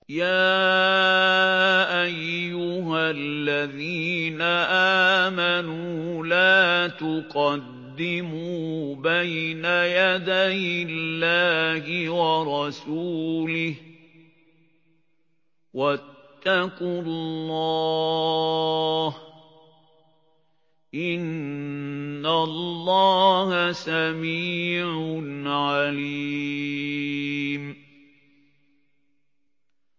يَا أَيُّهَا الَّذِينَ آمَنُوا لَا تُقَدِّمُوا بَيْنَ يَدَيِ اللَّهِ وَرَسُولِهِ ۖ وَاتَّقُوا اللَّهَ ۚ إِنَّ اللَّهَ سَمِيعٌ عَلِيمٌ